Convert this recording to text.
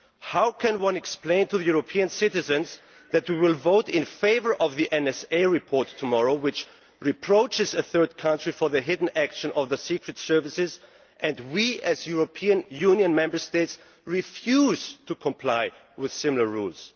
How can we explain to European citizens that we will vote in favour of the NSA report tomorrow, which reproaches a third country for the hidden actions of its secret services, while we, as European Union Member States, refuse to comply with similar rules?